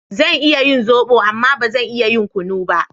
Zan iya yin zobo amma ba zan iya yin kunu ba